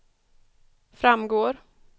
framgår